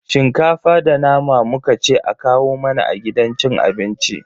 Shinkafa da nama muka ce a kawo mana a gidan cin abincin.